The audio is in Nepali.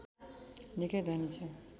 निकै धनी छ